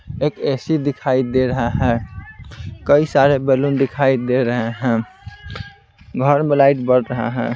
एक ए_सी दिखाई दे रहा है कई सारे बैलून दिखाई दे रहे हैं घर में लाइट बढ़ रहा है.